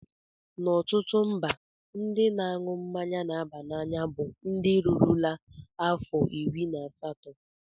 Na ọtụtụ mba, ndị na-aṅụ mmanya na-aba n'anya bụ ndị rurula afọ iri na asatọ.